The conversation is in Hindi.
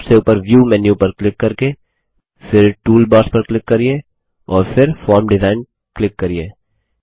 सबसे उपर व्यू मेन्यु पर क्लिक करके फिर टूलबार्स पर क्लिक करिये और फिर फॉर्म डिजाइन क्लिक करिये